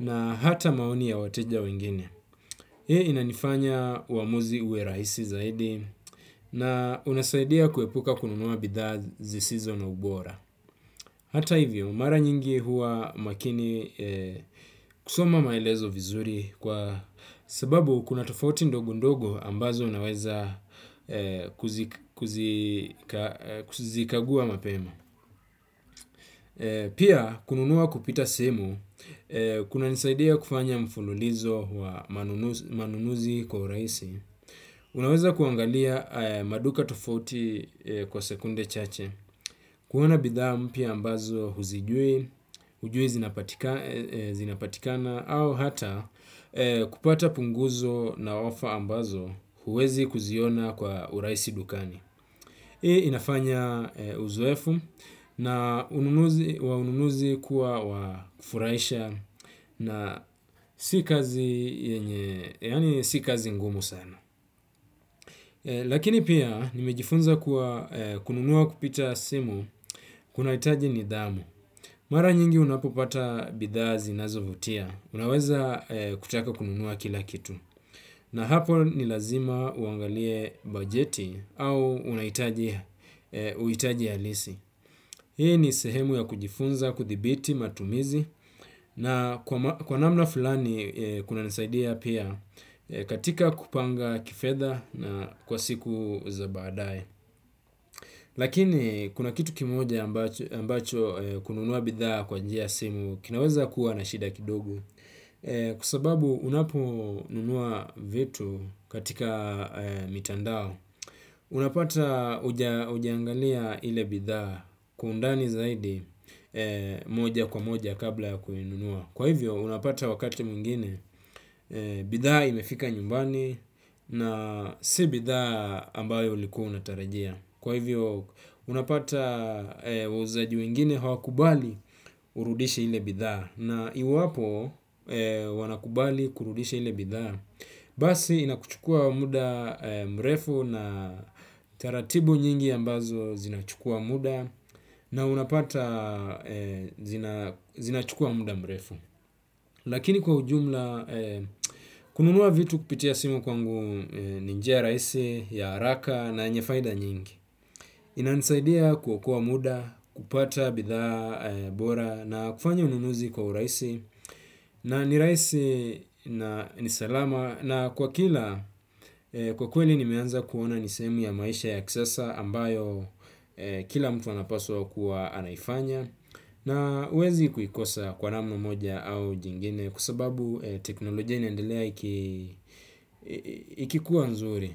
na hata maoni ya wateja wengine. Hei inanifanya uamuzi uwe rahisi zaidi na unasaidia kuepuka kununua bidhaa zisizo na ubora. Hata hivyo, mara nyingi huwa makini kusoma maelezo vizuri kwa sababu kuna tofauti ndogo ndogo ambazo unaweza kuzikagua mapema. Pia kunun ua kupita simu kunanisaidia kufanya mululizo wa manunuzi kwa urasi unaweza kuangalia ya maduka tofauti kwa sekunde chache. Kuwana bidhaa mpia ambazo huzijui, hujui zinapatikana au hata kupata punguzo na ofa ambazo huwezi kuziona kwa uraisi dukani. Hii inafanya uzoefu na ununuzi kuwa wafuraisha na sikazi ngumu sana. Lakini pia nimejifunza kununua kupita simu kuna itaji nidhamu. Mara nyingi unapopata bidhaa zinazovutia. Unaweza kutaka kununua kila kitu. Na hapo nilazima uangalie bajeti au unahitaji alisi. Hii ni sehemu ya kujifunza, kuthibiti, matumizi na kwa namna fulani kuna nisaidia pia katika kupanga kifedha na kwa siku za baadae. Lakini kuna kitu kimoja ambacho kununua bidha kwaa njia ya simu kinaweza kuwa na shida kidogo. Kwa sababu unapo nunua vitu katika mitandao. Unapata ujiangalia ile bidha kwa undani zaidi moja kwa moja kabla ya kuinunua. Kwa hivyo unapata wakati mwingine bidha imefika nyumbani na si bidha ambayo ulikuwa unatarajia. Kwa hivyo unapata wauzaje wengine hawakubali urudishe ile bidhaa na iw Basi inakuchukua muda mrefu na taratibu nyingi ambazo zinachukua muda na unapata zinachukua muda mrefu. Lakini kwa ujumla, kununua vitu kupitia simu kwangu ni njia raisi, ya haraka na yenye faida nyingi. Inanisaidia kuokoa muda, kupata bitha bora na kufanya ununuzi kwa uraisi na ni raisi na nisalama na kwa kila kwa kweli ni meanza kuona nisemi ya maisha ya kisasa ambayo kila mtuanapaswa kuwa anaifanya nba uwezi juikosa kwa naamna moja au jingine kwa sababu teknolojia inaendelea ikkuwa nzuri.